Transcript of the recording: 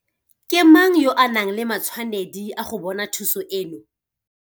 Ke mang yo a nang le matshwanedi a go bona thuso eno?